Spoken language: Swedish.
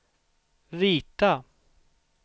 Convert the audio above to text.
rita